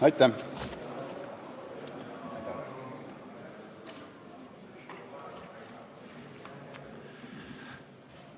Aitäh!